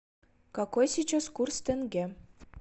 какой сейчас курс тенге